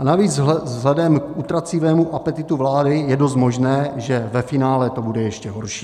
A navíc vzhledem k utrácivému apetitu vlády je dost možné, že ve finále to bude ještě horší.